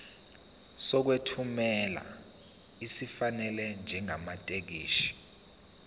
sokwethula esifanele njengamathekisthi